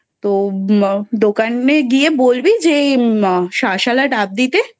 তো দোকানে গিয়ে বলবি যে শাঁসওলা ডাব দিতে